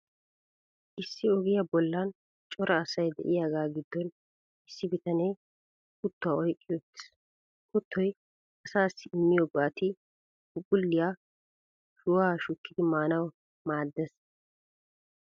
Issi ogiyaa bollan cora asay de'iyaagaa giddon Issi bitanee kuttuwaa oyqqi uttiis. Kuttoy asaassi immiyoo go'ati, phuuphphulliyaa shuwaa shukkidi maanawu maaddees.